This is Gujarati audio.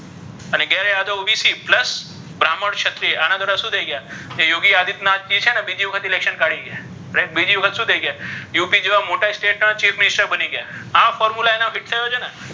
યાદવ OBCplus બ્રામ્હણ ક્ષત્રિય આ ના બધા શુ થઇ તો કે યોગી આદિત્યનાથજી છે ને બીજી વખત Election કાઢી ગયા Right બીજી વખત શુ થઇ ગયા up જેવા મોટા state ના chief minister બની ગયા આ formula તેના છે ને!